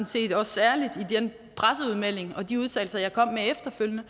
set også særligt i den presseudmelding og de udtalelser jeg kom med efterfølgende